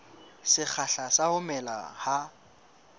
sekgahla sa ho mela ha